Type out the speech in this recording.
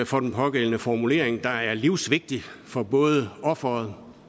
for den pågældende formulering der er livsvigtig for både offeret